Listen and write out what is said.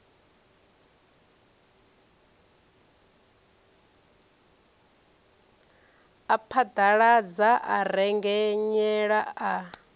a phaḓaladza a rengenyela a